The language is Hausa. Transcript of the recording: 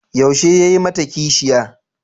Yaushe ya yi mata kishiya?